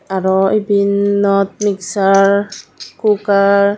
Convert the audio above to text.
aro ebennot mixsar kukar .